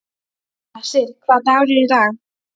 Hersir, hvaða dagur er í dag?